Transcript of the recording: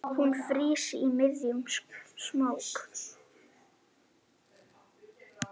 Hún frýs í miðjum smók.